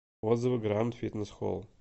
отзывы гранд фитнесс холл